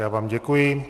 Já vám děkuji.